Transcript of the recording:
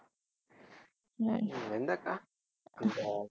எந்த அக்கா